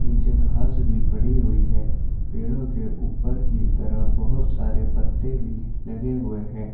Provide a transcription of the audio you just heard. नीचे घास भी पड़ी हुई है पेड़ों के ऊपर की तरफ बोहोत सारे पत्ते भी लगे हुए हैं।